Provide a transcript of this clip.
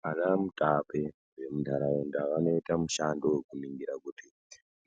Vana mutape vemunharaunda vanoite mishando wekuningira kuti